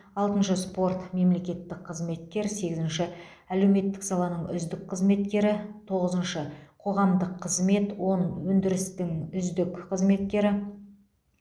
алтыншы спорт мемлекеттік қызметкер сегізінші әлеуметтік саланың үздік қызметкері тоғызыншы қоғамдық қызмет он өндірістің үздік қызметкері